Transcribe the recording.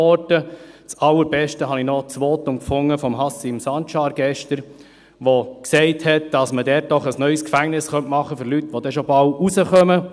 Am allerbesten fand ich noch das gestrige Votum von Haşim Sancar gefunden, der gesagt hat, dass man dort doch ein neues Gefängnis für Leute machen könnte, die schon bald rauskommen.